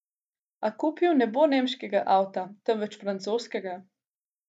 A kupil ne bo nemškega avta, temveč francoskega.